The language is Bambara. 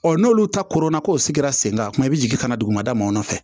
n'olu ta kɔrɔ na k'o sigira sen kan kuma i bɛ jigin ka na dugumana mɔnfɛ